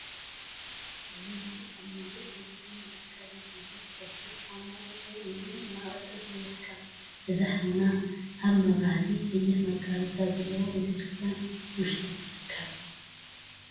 ዕልል… ሓደ ሙሉአ ልብሲን መስቀልን ሒዙ ዝቅድስ ሓውና ጠጠው ኢሉ እናቀደሰ ይርከብ፡፡ እዚ ሓውና አብ መብራህቲን ቀይሕ መጋረጃን ዘለዎ ቤተ ክርስትያን ውሽጢ ይርከብ፡፡